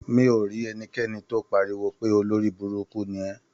Mi ò rí ẹnikẹ́ni tó pariwo pé "olórí burúkú ni ẹ".